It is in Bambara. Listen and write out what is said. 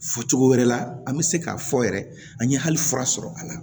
Fɔ cogo wɛrɛ la an bɛ se k'a fɔ yɛrɛ an ye hali fura sɔrɔ a la